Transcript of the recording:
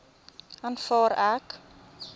aanvaar ek